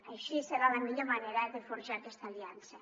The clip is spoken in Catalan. així serà la millor manera de forjar aquesta aliança